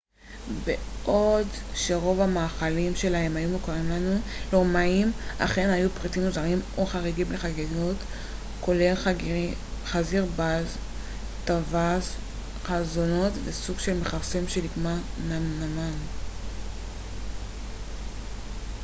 בעוד שרוב המאכלים שלהם היו מוכרים לנו לרומאים אכן היו פריטים מוזרים או חריגים לחגיגות כולל חזיר בר טווס חלזונות וסוג של מכרסם שנקרא נמנמן